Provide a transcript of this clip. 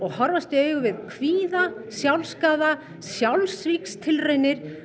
horfast í augu við kvíða sjálfsskaða sjálfsvígstilraunir